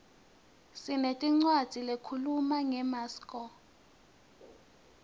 sinetincwadzi lehkhuluma ngemaskco